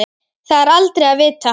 Það er aldrei að vita?